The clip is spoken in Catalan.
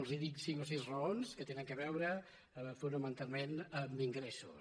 els dic cinc o sis raons que tenen a veure fonamentalment amb ingressos